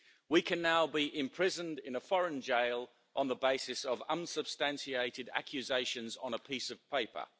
We can now be imprisoned in a foreign jail on the basis of unsubstantiated accusations on a piece of paper.